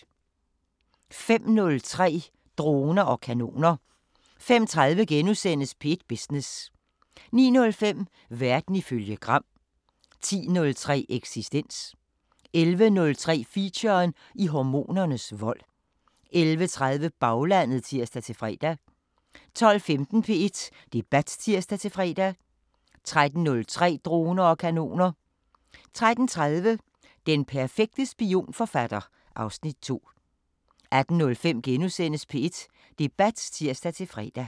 05:03: Droner og kanoner 05:30: P1 Business * 09:05: Verden ifølge Gram 10:03: Eksistens 11:03: Feature: I hormonernes vold 11:30: Baglandet (tir-fre) 12:15: P1 Debat (tir-fre) 13:03: Droner og kanoner 13:30: Den perfekte spionforfatter (Afs. 2) 18:05: P1 Debat *(tir-fre)